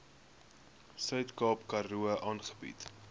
suidkaap karoo aangebied